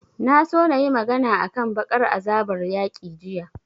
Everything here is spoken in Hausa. Na so na yi magana a kan baƙar azabar yaƙi jiya